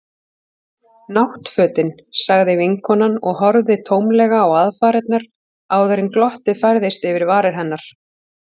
Náttfötin. sagði vinkonan og horfði tómlega á aðfarirnar áður en glottið færðist yfir varir hennar.